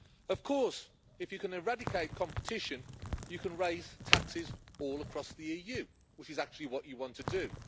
Of course, if you can eradicate competition you can raise taxes all across the EU, which is actually what you want to do.